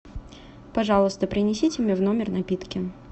пожалуйста принесите мне в номер напитки